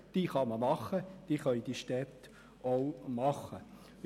Diese Vorschläge können von den Städten umgesetzt werden.